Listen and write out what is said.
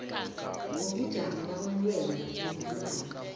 ngobujamo bamalwelwe weenlwana